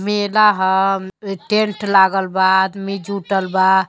मेला ह अम् टेंट लागल बा आदमी जुटल बा।